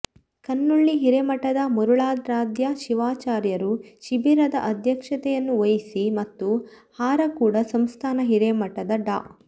ಕನ್ನೊಳ್ಳಿ ಹಿರೇಮಠದ ಮರುಳಾರಾಧ್ಯ ಶಿವಾಚಾರ್ಯರು ಶಿಬಿರದ ಅಧ್ಯಕ್ಷತೆಯನ್ನು ವಹಿಸಿ ಮತ್ತು ಹಾರಕೂಡ ಸಂಸ್ಥಾನ ಹಿರೇಮಠದ ಡಾ